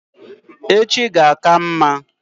Echi ga-aka mma